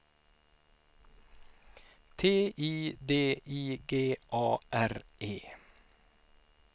T I D I G A R E